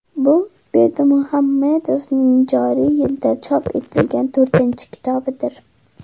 Bu Berdimuhamedovning joriy yilda chop etilgan to‘rtinchi kitobidir.